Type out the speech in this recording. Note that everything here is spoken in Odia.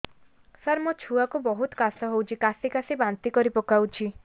ସାର ମୋ ଛୁଆ କୁ ବହୁତ କାଶ ହଉଛି କାସି କାସି ବାନ୍ତି କରି ପକାଉଛି